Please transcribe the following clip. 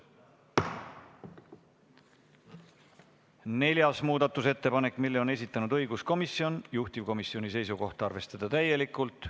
Neljanda muudatusettepaneku on esitanud õiguskomisjon, juhtivkomisjoni seisukoht on arvestada seda täielikult.